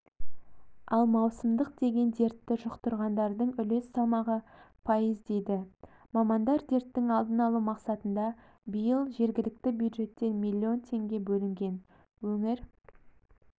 ал маусымдық деген дертті жұқтырғандардың үлес салмағы пайыз дейді мамандар дерттің алдын алу мақсатында биыл жергілікті бюджеттен миллион теңге бөлінген өңір